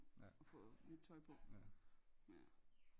og få nyt tøj på ja